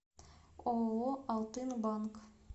ооо алтынбанк